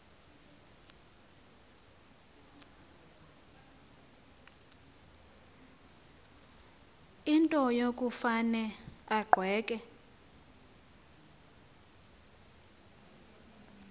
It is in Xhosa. into yokufane agweqe